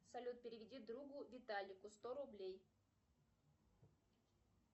салют переведи другу виталику сто рублей